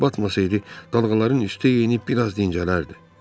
Əgər batmasaydı, dalğaların üstü enib, bir az dincələrdi.